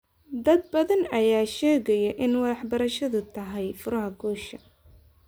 Dad badan ayaa sheegaya in waxbarashadu tahay furaha guusha.